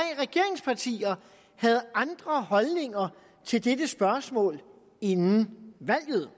regeringspartier havde andre holdninger til dette spørgsmål inden valget